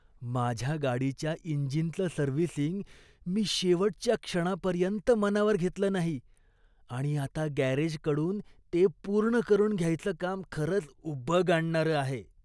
माझ्या गाडीच्या इंजिनचं सर्व्हिसिंग मी शेवटच्या क्षणापर्यंत मनावर घेतलं नाही आणि आता गॅरेजकडून ते पूर्ण करून घ्यायचं काम खरंच उबग आणणारं आहे.